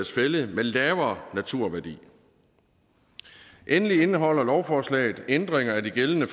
fælled med lavere naturværdi endelig indeholder lovforslaget ændringer af de gældende